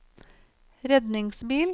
redningsbil